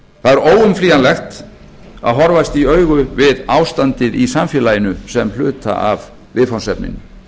það er óumflýjanlegt að horfast í augu við ástandið í samfélaginu sem hluta af viðfangsefninu